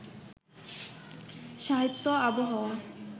সাহিত্য আবহাওয়া